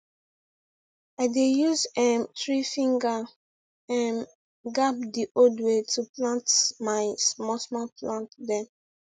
i dey use um threefinger um gap the old way to plant my smallsmall plant dem